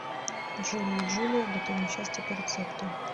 джули и джулия готовим счастье по рецепту